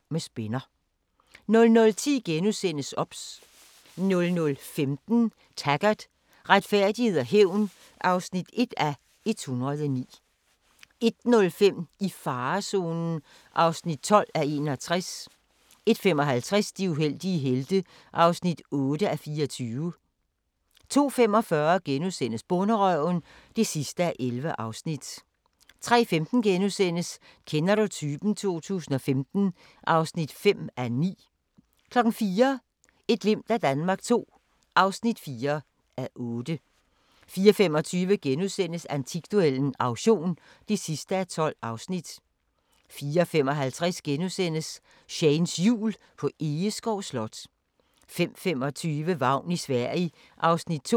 00:10: OBS * 00:15: Taggart: Retfærdighed og hævn (1:109) 01:05: I farezonen (12:61) 01:55: De uheldige helte (8:24) 02:45: Bonderøven (11:11)* 03:15: Kender du typen? 2015 (5:9)* 04:00: Et glimt af Danmark II (4:8) 04:25: Antikduellen - auktion (12:12)* 04:55: Shanes Jul på Egeskov Slot * 05:25: Vagn i Sverige (2:6)